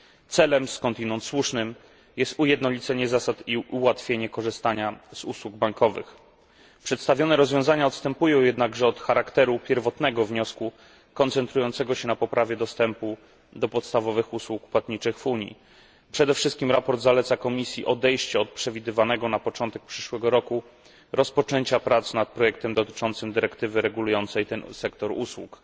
Celem skądinąd słusznym jest ujednolicenie zasad i ułatwienie korzystania z usług bankowych. Przedstawione rozwiązania odstępują jednakże od charakteru pierwotnego wniosku koncentrującego się na poprawie dostępu do podstawowych usług płatniczych w Unii. Przede wszystkim sprawozdanie zaleca Komisji odejście od przewidywanego na początek przyszłego roku rozpoczęcia prac nad projektem dotyczącym dyrektywy regulującej ten sektor usług.